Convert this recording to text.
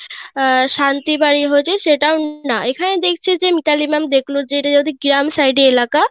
আহ শান্তি বাড়ি হয়েছে সেটাও না এখানে দেখছি যে মিতালি ma'am দেখলো যে গ্রাম side এলাকা,